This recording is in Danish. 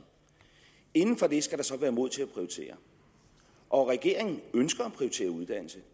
inden for det skal der så være mod til at prioritere og regeringen ønsker at prioritere uddannelse